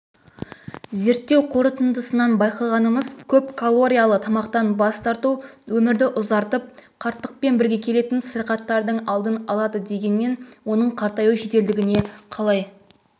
зерттеу қорытындысынан байқағанымыз көп калориялы тамақтан бас тарту өмірді ұзартып қарттықпен бірге келетін сырқаттардың алдын алады дегенмен оның қартаюдың жеделдігіне қалай